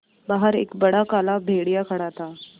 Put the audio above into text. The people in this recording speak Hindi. बाहर एक बड़ा काला भेड़िया खड़ा था